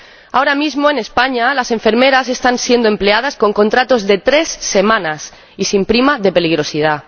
Ahora mismo, en España, las enfermeras están siendo empleadas con contratos de tres semanas y sin prima de peligrosidad.